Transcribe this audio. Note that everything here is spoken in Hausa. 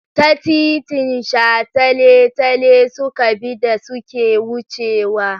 Ta titin shataletale suka bi da suke wucewa.